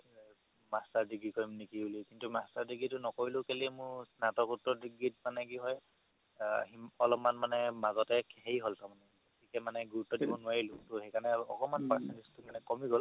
master degree কৰিম নেকি বুলি কিন্তু master degree তো নকৰিলো কেলেই মোৰ স্নাতক ডিগ্ৰীত কি হয় অলপমান মানে মাজতে হেৰি হ'ল গুৰুত্ব দিব নোৱাৰিলো সেইকাৰণে একমাণ percentage তো মানে কমি গ'ল